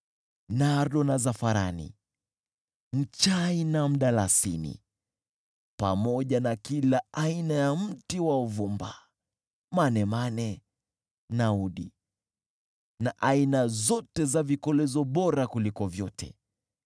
nardo na zafarani, mchai na mdalasini, pamoja na kila aina ya mti wa uvumba, manemane na udi, na aina zote za vikolezo bora kuliko vyote.